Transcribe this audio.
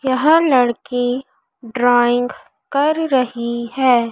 यह लड़की ड्राइंग कर रही है।